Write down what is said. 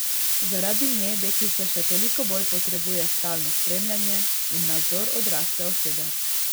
Zaradi nje deklica še toliko bolj potrebuje stalno spremljanje in nadzor odrasle osebe.